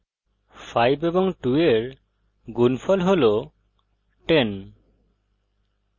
5 এবং 2 এর গুনফল হল 1000